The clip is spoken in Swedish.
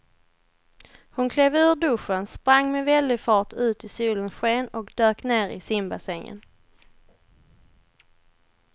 Hon klev ur duschen, sprang med väldig fart ut i solens sken och dök ner i simbassängen.